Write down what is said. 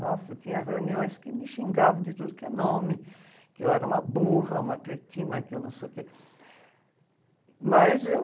Nossa, tinha reuniões que me xingavam de tudo que é nome, que eu era uma burra, uma cretina, que eu não sei o quê... Mas eu...